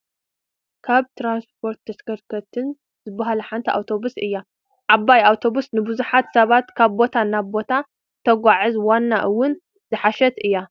ካብ ትራንስፖርትን ተሽከርከርትን ዝባሃላ ሓንቲ ኣውቶብስ እያ፡፡ ዓባይ ኣውቶብስ ንቡዙሓት ሰባት ካብ ቦታ ናብ ቦታ እተጓዓዕዝ ፣ ዋጋ አውን ዝሓሸትን እያ፡፡